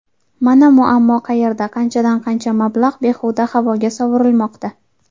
Mana muammo qayerda qanchadan-qancha mablag‘ behuda havoga sovurilmoqda.